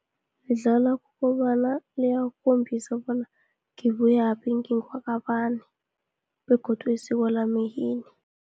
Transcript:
Lidlala kobana liyakhombisa bona ngibuyaphi, ngingwakabani, begodu isiko lama yini.